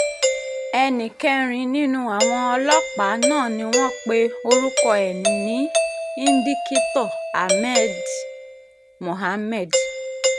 ẹnì kẹrin nínú àwọn ọlọ́pàá náà ni wọ́n pe orúkọ ẹ̀ ní indikítọ́ ahmed mohammed